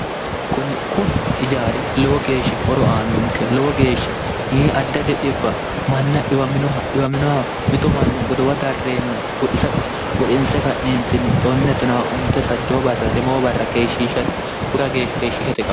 kuni ijaari lowo geeshsha horo aannonke lowo geeshsha yii adda didhibba manna dhiwaminoha dhiwaminoha mito manna godowa darreenna goxisate goxinse ka'neentinni xonne tona onte sajjoo barra lemoo barra keeshshishate hura geeshsha keeshshishate karn